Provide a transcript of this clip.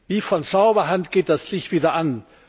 Wie von Zauberhand geht das Licht wieder an.